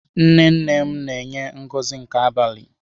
Nnenne m na enye Ngozi nke abalị.